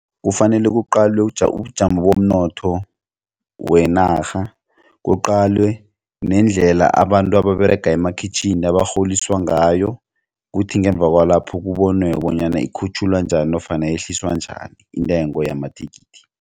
Kufanele kuqalwe ubujamo bomnotho wenarha kuqalwe nendlela abantu ababerega emakhitjhini abarholiswa ngayo kuthi ngemva kwalapho kubonwe bonyana ikhutjhulwa njani nofana yehliswa njani intengo yamathikithi.